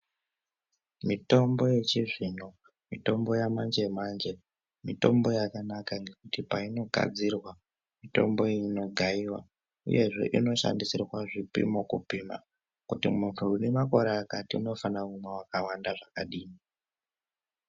Mitombo yechizvino mitombo yamanje-manje mitombo yakanaka ngekuti painogadzirwa mitombo iyi inogaiva, uyezve inoshandisirwa zvipimo kupima. Kuti muntu unemakore akati unofana kumwa vakawanda zvakadini.